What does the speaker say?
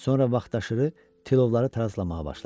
Sonra vaxtaşırı tilovları tarazlamağa başladı.